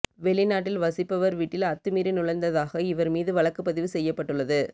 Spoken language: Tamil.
வெளிநாட்டில் வசிப்பவர் வீட்டில் அத்துமீறி நுழைந்ததாக இவர் மீது வழக்குப்பதிவு செய்யப்பட்டுள்ளது